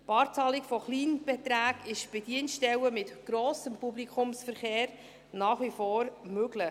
Die Barzahlung von Kleinbeträgen ist bei Dienststellen mit grossem Publikumsverkehr nach wie vor möglich.